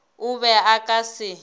o be o ka se